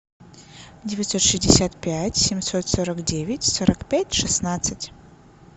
девятьсот шестьдесят пять семьсот сорок девять сорок пять шестнадцать